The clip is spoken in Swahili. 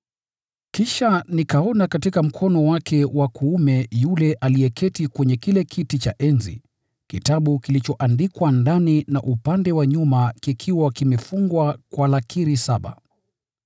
Kisha nikaona katika mkono wake wa kuume wa yule aliyeketi kwenye kile kiti cha enzi, kitabu kilichoandikwa ndani na upande wa nje, kikiwa kimefungwa kwa lakiri saba.